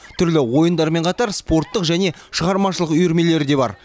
түрлі ойындармен қатар спорттық және шығармашылық үйірмелер де бар